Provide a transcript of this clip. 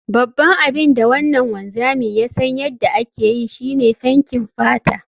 Babban abin da wannan wanzami ya san yadda ake yi, shi ne fenkin fata